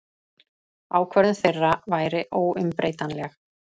Ákvörðun þeirra væri óumbreytanleg.